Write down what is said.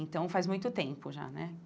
Então, faz muito tempo já, né?